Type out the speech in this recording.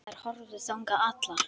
Þær horfðu þangað allar.